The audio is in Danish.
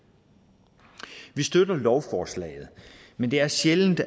vi støtter lovforslaget men det er sjældent